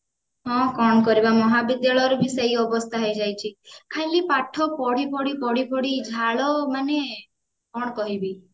ହଁ କଣ କରିବା ମହାବିଦ୍ୟାଳୟରେ ବି ସେଇ ଅବସ୍ଥା ହେଇଯାଇଛି ଖାଲି ପାଠ ପଢି ପଢି ପଢି ପଢି ଝାଳ ମାନେ କଣ କହିବି